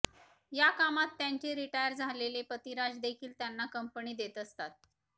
या कामात त्यांचे रिटायर झालेले पतिराज देखील त्यांना कंपनी देत असतात